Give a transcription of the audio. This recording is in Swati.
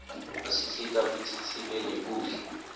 asisita kutsi sibe nekudla